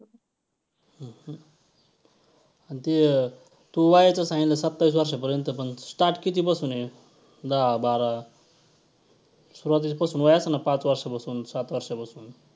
आणि ते तू वयाचं सांगितलं सत्ताविस वर्षापर्यंत पण start कितीपासून आहे? दहा बारा सुरवातीपासून वय असतं ना पाच वर्षापासून, सात वर्षापासून.